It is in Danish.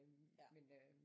Men øh